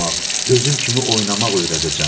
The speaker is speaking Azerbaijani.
oynamaq, özüm kimi oynamaq öyrədəcəm.